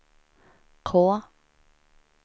K